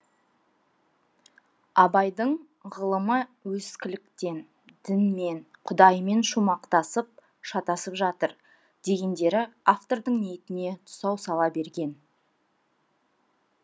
абайдың ғылымы ескіліктен дінмен құдаймен шумақтасып шатасып жатыр дегендері автордың ниетіне тұсау сала берген